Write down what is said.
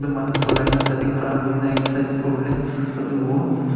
manu polai na exercise kori le tarte vo--